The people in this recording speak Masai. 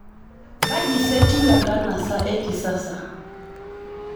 Kaji sa etiu enkanasa ekisasa